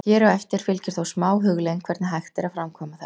Hér á eftir fylgir þó smá hugleiðing hvernig hægt er að framkvæma þetta.